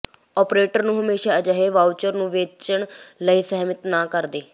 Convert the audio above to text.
operator ਨੂੰ ਹਮੇਸ਼ਾ ਅਜਿਹੇ ਵਾਊਚਰ ਨੂੰ ਵੇਚਣ ਲਈ ਸਹਿਮਤ ਨਾ ਕਰਦੇ